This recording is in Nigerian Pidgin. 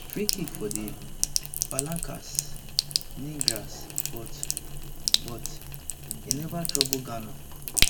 freekick for di palancas negras but but e neva trouble ghana